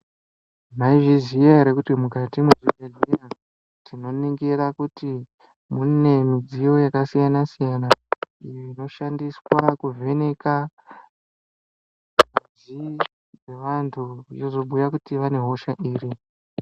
Mayizvi ziya here kuti mukati mezvibhedhlera tikaningira kuti mune midziyo yakasiyana siyana inoshandiswa kuvhenaka muviri dzevantu inozobhuya kuti vane hosha iri.